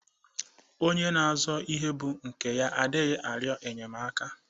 Onye na-azo ihe bu nke ya adighi ario enyemaka.